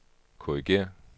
korrigér